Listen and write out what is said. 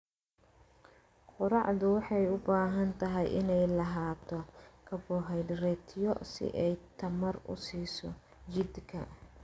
Quraacdu waxay u baahan tahay inay lahaato karbohaydraytyo si ay tamar u siiso jidhka.